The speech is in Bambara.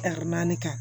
naani kan